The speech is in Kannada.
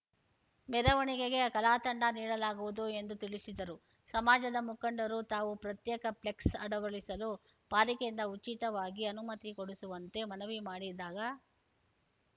ಮೆರವಣೆಗೆಗೆ ಕಲಾತಂಡಗಳನ್ನು ನೀಡಲಾಗುವುದು ಎಂದು ತಿಳಿಸಿದರು ಸಮಾಜದ ಮುಖಂಡರು ತಾವು ಪ್ರತ್ಯೇಕ ಪ್ಲೆಕ್ಸ್‌ ಅಳವಡಿಸಲು ಪಾಲಿಕೆಯಿಂದ ಉಚಿತವಾಗಿ ಅನುಮತಿ ಕೊಡಿಸುವಂತೆ ಮನವಿ ಮಾಡಿದಾಗ